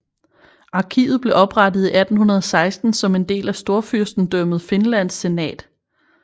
Arkivet blev oprettet i 1816 som en del af Storfyrstendømmet Finlands senat